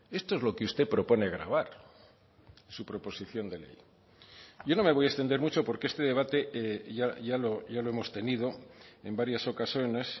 esto es lo que usted propone gravar su proposición de ley yo no me voy a extender mucho porque este debate ya lo hemos tenido en varias ocasiones